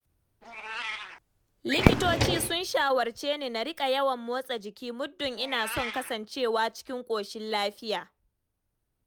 Likitoci sun shawarce ni, na riƙa yawan motsa jiki, muddun ina son kasancewa cikin ƙoshin lafiya.